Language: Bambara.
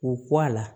K'u kɔ a la